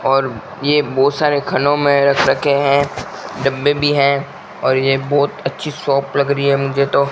और ये बहोत सारे खनों में रख रखे हैं डब्बे भी हैं और ये बहोत अच्छी शॉप लग रही है मुझे तो --